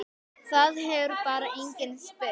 Það hefur bara enginn spurt